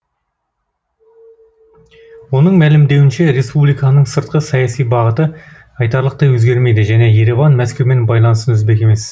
оның мәлімдеуінше республиканың сыртқы саяси бағыты айтарлықтай өзгермейді және ереван мәскеумен байланысын үзбек емес